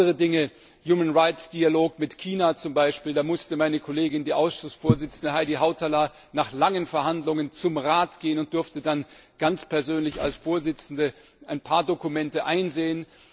Oder andere Dinge, der Menschenrechtsdialog mit China zum Beispiel, da musste meine Kollegin, die Ausschussvorsitzende Heidi Hautala, nach langen Verhandlungen zum Rat gehen und durfte dann ganz persönlich als Vorsitzende ein paar Dokumente einsehen.